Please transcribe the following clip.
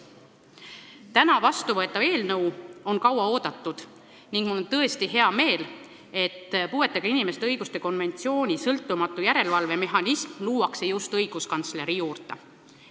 Täna loodetavasti vastu võetavat eelnõu on kaua oodatud ning mul on tõesti hea meel, et puuetega inimeste õiguste konventsiooni sõltumatu järelevalve mehhanism luuakse just õiguskantsleri büroo juurde.